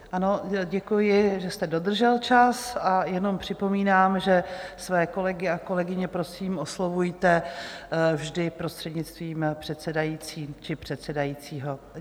Ano, děkuji, že jste dodržel čas, a jenom připomínám, že své kolegy a kolegyně prosím oslovujte vždy prostřednictvím předsedající či předsedajícího.